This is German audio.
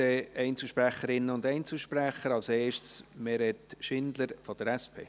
Dann kommen wir zu den Einzelsprecherinnen und Einzelsprecher, als erste Meret Schindler von der SP.